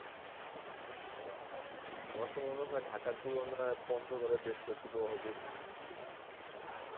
আচ্ছা, আমার তো মনে হয় ঢাকার তুলনায় পঞ্চগড়ে বেশ শৈত্য প্রবাহ বেশি.